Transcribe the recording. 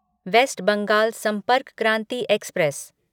waste Bengal Sampark Kranti express